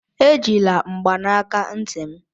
Ejila mgbanaka ntị m!